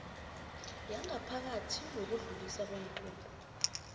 yangaphakathi yokudluliswa kweenqunto